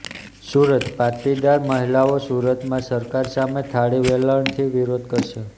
સુરતઃ પાટીદાર મહિલાઓ સુરતમાં સરકાર સામે થાળી વેલણથી વિરોધ કરશે